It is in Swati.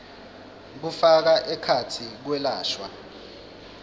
kufaka ekhatsi kwelashwa